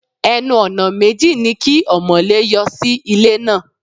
Ẹnu-ọ̀nà méjì ni kí ọmọ̀lé yọ sí ilé náà.